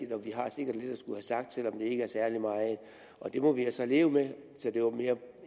og vi har sikkert lidt at skulle have sagt selv om det ikke er særlig meget og det må vi altså leve med så det var mere